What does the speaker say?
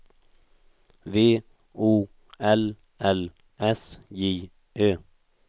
V O L L S J Ö